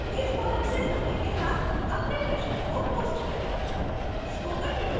इस forum में समय के साथ अपने प्रश्नों को post करें